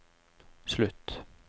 slutt